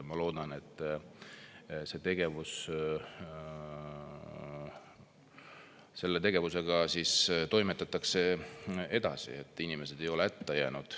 Ma loodan, et selle tegevusega toimetatakse edasi, et inimesed ei ole hätta jäänud.